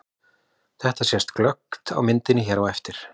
Þetta sést glöggt á myndinni hér á eftir.